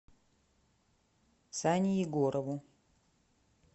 сане егорову